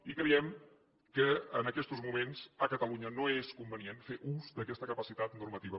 i creiem que en aquestos moments a catalunya no és convenient fer ús d’aquesta capacitat normativa